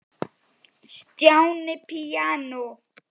Stjáni píanó